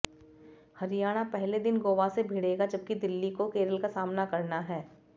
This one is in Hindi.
हरियाणा पहले दिन गोवा से भिड़ेगा जबकि दिल्ली को केरल का सामना करना है